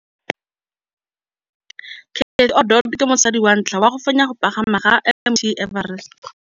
Cathy Odowd ke mosadi wa ntlha wa go fenya go pagama ga Mt Everest.